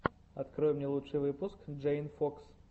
открой мне лучший выпуск джейн фокс